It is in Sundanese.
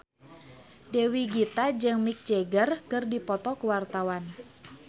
Dewi Gita jeung Mick Jagger keur dipoto ku wartawan